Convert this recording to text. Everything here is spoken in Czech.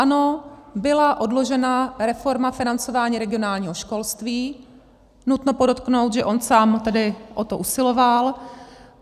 Ano, byla odložena reforma financování regionálního školství, nutno podotknout, že on sám tedy o to usiloval.